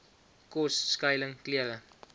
kos skuiling klere